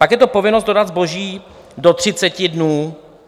Pak je to povinnost dodat zboží do 30 dnů.